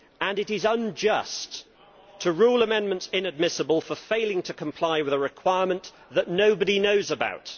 It is unjust to rule amendments inadmissible for failing to comply with a requirement that nobody knows about.